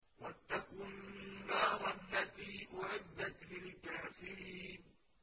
وَاتَّقُوا النَّارَ الَّتِي أُعِدَّتْ لِلْكَافِرِينَ